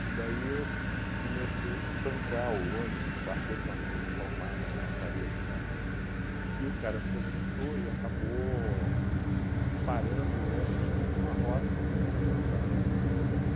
E daí eu comecei a espancar o ônibus, bater com a mão espalmada na lataria do ônibus, e o cara se assustou e acabou parando o ônibus com uma roda em cima da calçada. Ele